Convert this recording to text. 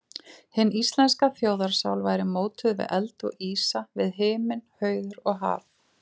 Hin íslenska þjóðarsál væri mótuð við eld og ísa, við himinn, hauður og haf.